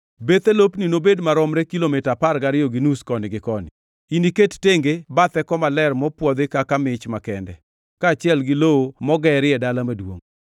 Bethe lopni nobed maromre, kilomita apar gariyo gi nus koni gi koni. Iniket tenge bathe koma ler mopwodhi kaka mich makende, kaachiel gi lowo mogerie dala maduongʼ.